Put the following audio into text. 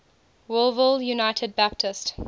wolfville united baptist